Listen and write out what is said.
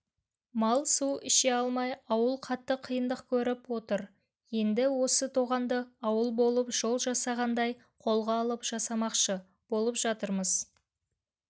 мал су іше алмай ауыл қатты қиындық көріп отыр енді осы тоғанды ауыл болып жол жасағандай қолға алып жасамақшы болып жатырмыз